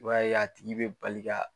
I b'a ye a tigi be bali ka